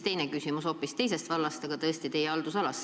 Nüüd on mul küsimus hoopis teisest vallast, aga siiski teie haldusalast.